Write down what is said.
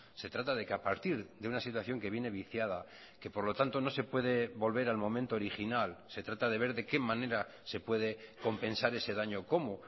se trata de que a partir de una situación que viene viciada que por lo tanto no se puede volver al momento original se trata de ver de qué manera se puede compensar ese daño cómo